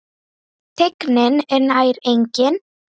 Teygnin er nær engin.